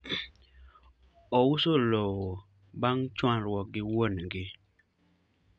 ouso lowo bang chwanyruok gi wuon gi